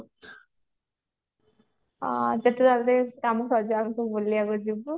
ଆମେ ସବୁ ବୁଲିବାକୁ ଯିବୁ